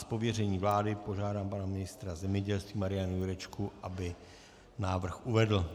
Z pověření vlády požádám pana ministra zemědělství Mariana Jurečku, aby návrh uvedl.